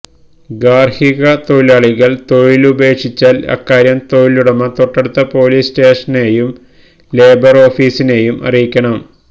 ഗാര്ഹികതൊഴിലാളികള് തൊഴിലുപേക്ഷിച്ചാല് അക്കാര്യം തൊഴിലുടമ തൊട്ടടുത്ത പോലീസ്സ്റ്റേഷനെയും ലേബര് ഓഫീസിനെയും അറിയിക്കണം